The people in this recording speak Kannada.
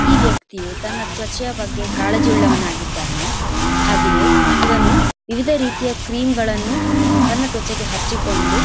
ಈ ವ್ಯಕ್ತಿಯು ತನ್ನ ತ್ವಚೆಯ ಬಗ್ಗೆ ಕಾಳಜಿ ಉಳ್ಳವನು ಆಗಿದ್ದಾನೆ ಹಾಗೆಯೆ ಇವನು ವಿವಿಧ ರೀತಿಯ ಕ್ರೀಮ್ ಗಳನ್ನೂ ತನ್ನ ತ್ವಚೆಗೆ ಹಚ್ಚಿಕೊಂಡು--